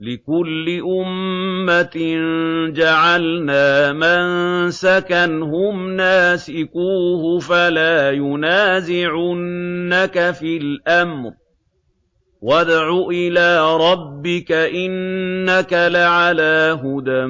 لِّكُلِّ أُمَّةٍ جَعَلْنَا مَنسَكًا هُمْ نَاسِكُوهُ ۖ فَلَا يُنَازِعُنَّكَ فِي الْأَمْرِ ۚ وَادْعُ إِلَىٰ رَبِّكَ ۖ إِنَّكَ لَعَلَىٰ هُدًى